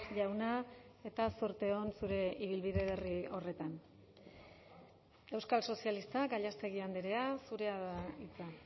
jauna eta zorte on zure ibilbide berri horretan euskal sozialistak gallástegui andrea zurea da hitza